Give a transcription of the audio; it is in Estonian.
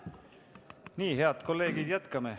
Nii, head kolleegid, jätkame.